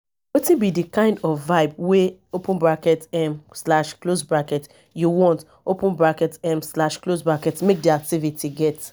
wetin be di kind of vibe wey um you want um make di activity get